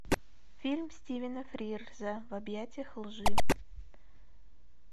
фильм стивена фрирза в объятиях лжи